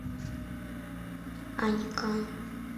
анькан